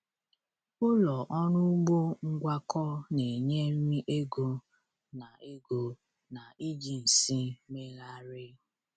Ụlọ ọrụ ugbo ngwakọ na-enye nri, ego, na ego, na iji nsị meeghari.